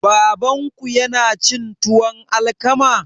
Babanku yana cin tuwon alkama?